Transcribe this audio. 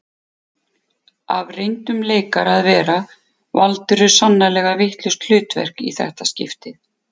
Af reyndum leikara að vera valdirðu sannarlega vitlaust hlutverk í þetta skiptið